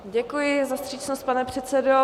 Děkuji za vstřícnost, pane předsedo.